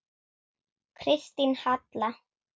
Kristín Halla.